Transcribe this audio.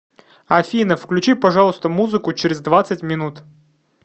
афина включи пожалуйста музыку через двадцать минут